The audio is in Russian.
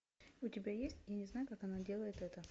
у тебя есть я не знаю как она делает это